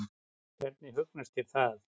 Hvernig hugnast þér það?